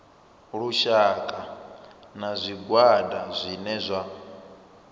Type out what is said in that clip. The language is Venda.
lushaka na zwigwada zwine zwa